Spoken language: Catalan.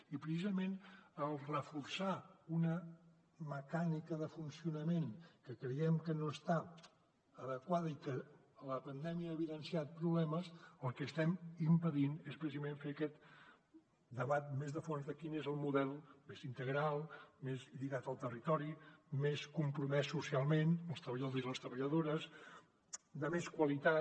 i precisament al reforçar una mecànica de funcionament que creiem que no està adequada i que la pandèmia ha evidenciat problemes el que estem impedint és precisament fer aquest debat més de fons de quin és el model més integral més lligat al territori més compromès socialment amb els treballadors i les treballadores de més qualitat